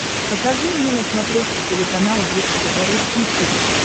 покажи мне на смотрешке телеканал бридж тв русский хит